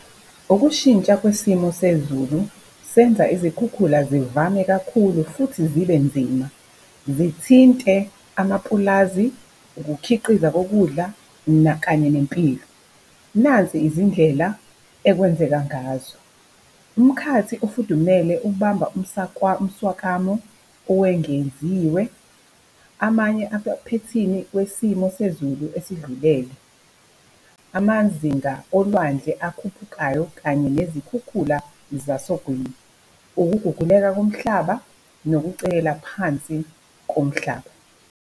Ukushintsha kwesimo sezulu senza izikhukhula zivame kakhulu futhi zibe nzima. Zithinte amapulazi, ukukhiqizwa kokudla kanye nempilo. Nazi izindlela ekwenzeka ngazo, umkhathi ofudumele ubamba umswakamo owengeziwe. Amanye amaphethini wesimo sezulu esidlulele. Amazinga olwandle akhuphukayo kanye nezikhukhula zasogwini. Ukuguguleka komhlaba, nokucekela phansi komhlaba.